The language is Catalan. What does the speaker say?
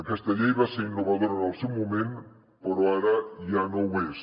aquesta llei va ser innovadora en el seu moment però ara ja no ho és